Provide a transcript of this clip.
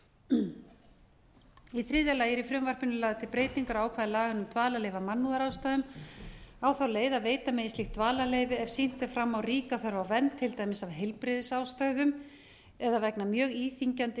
brot í þriðja lagi eru í frumvarpinu lagðar til breytingar á ákvæðum laga um dvalarleyfi af mannúðarástæðum á falið að veita megi slík dvalarleyfi ef sýnt er fram á ríka þörf á vernd til dæmis af heilbrigðisástæðum eða vegna mjög íþyngjandi